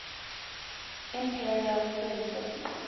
imperial free cities